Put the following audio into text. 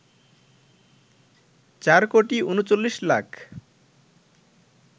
৪ কোটি ৩৯ লাখ